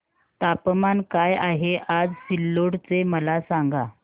तापमान काय आहे आज सिल्लोड चे मला सांगा